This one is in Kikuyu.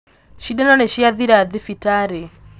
Cindano nĩciathira thibitarĩ